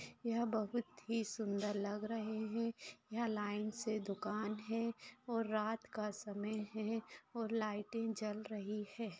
यह बहुत ही सुंदर लग रहे है यहाँ लाइन से दुकान है और रात का समय है और लाइटे जल रही है।